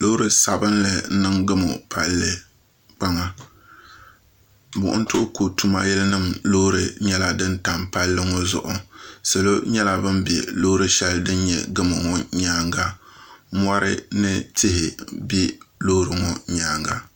Loori sabinli n niŋ gamu palli kpaŋa buɣum tuhiku tuma yili nima loorinyɛla dini tam palli ŋɔ zuɣu salo nyɛla bini bɛ loori shɛli bini nyɛ gamu ŋɔ nyɛanga mori ni tihi bɛ loori ŋɔ nyɛanga.